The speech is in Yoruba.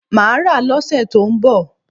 Mà á rà á lọ́ sẹ tó ń bọ̀